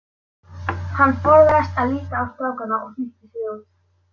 Hann forðaðist að líta á strákana og flýtti sér út.